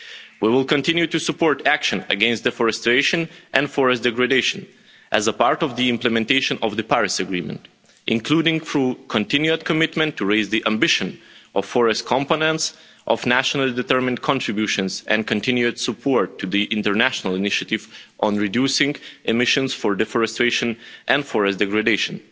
We will continue to support action against deforestation and forest degradation as a part of the implementation of the Paris Agreement, including through continued commitment to raise the ambition of forest competence, of nationally determined contributions and continued support to the international initiative on reducing emissions for deforestation and forest degradation.